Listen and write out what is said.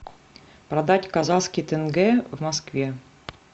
продать казахский тенге в москве